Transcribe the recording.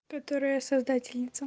которая создательница